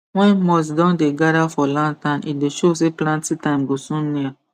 when moth don dey gather for lantern e dey show say planting time go soon near